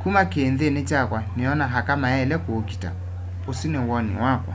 kuma kiinthini kyakwa niona aka mayaile kuukita usu ni woni wakwa